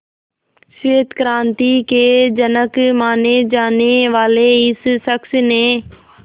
श्वेत क्रांति के जनक माने जाने वाले इस शख्स ने